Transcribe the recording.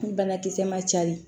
Ni banakisɛ ma cari